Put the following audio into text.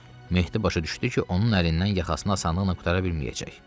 Mehdi başa düşdü ki, onun əlindən yaxasını asanlıqla qurtara bilməyəcək.